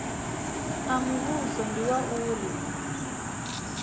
a muvhuso ndi wa uri